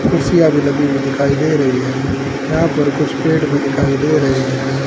कुर्सियां भी लगी हुई दिखाई दे रही हैं यहां पर कुछ पेड़ भी दिखाई दे रहे हैं।